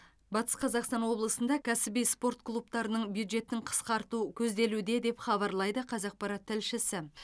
батыс қазақстан облысында кәсіби спорт клубтарының бюджетін қысқарту көзделуде деп хабарлайды қазақпарат тілшісі